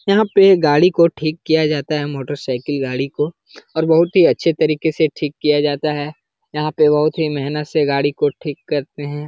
यहाँ पे गाड़ी को ठीक किया जाता है मोटर साइकिल गाड़ी को और बोहोत ही अच्छे तरीके से ठीक किया जाता है| यहाँ पे ही मेहनत से गाड़ी को ठीक करते हैं।